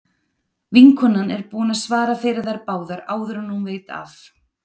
Vinkonan er búin að svara fyrir þær báðar áður en hún veit af.